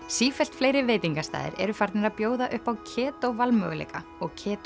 sífellt fleiri veitingastaðir eru farnir að bjóða upp á valmöguleika og